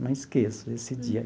Não esqueço esse dia.